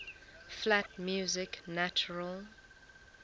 flat music natural